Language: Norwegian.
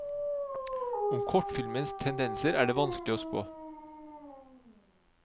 Om kortfilmens tendenser er det vanskelig å spå.